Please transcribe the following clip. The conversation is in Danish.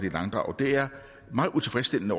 i langdrag det er meget utilfredsstillende